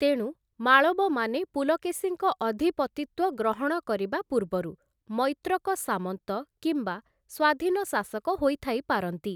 ତେଣୁ, ମାଳବମାନେ ପୁଲକେଶୀଙ୍କ ଅଧିପତିତ୍ୱ ଗ୍ରହଣ କରିବା ପୂର୍ବରୁ ମୈତ୍ରକ ସାମନ୍ତ କିମ୍ବା ସ୍ୱାଧୀନ ଶାସକ ହୋଇଥାଇପାରନ୍ତି ।